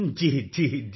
ਜੀ ਜੀ ਜੀ